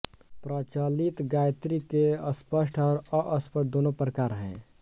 प्रचलित गायत्री के स्पष्ट और अस्पष्ट दोनों प्रकार हैं